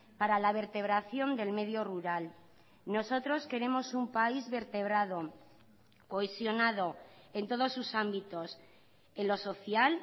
para la vertebración del medio rural nosotros queremos un país vertebrado cohesionado en todos sus ámbitos en lo social